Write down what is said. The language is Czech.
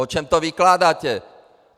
O čem to vykládáte?